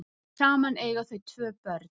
Saman eiga þau tvö börn